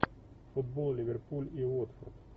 футбол ливерпуль и уотфорд